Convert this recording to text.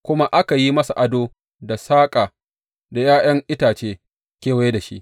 Kuma aka yi masa ado da saƙa da ’ya’yan itace kewaye da shi.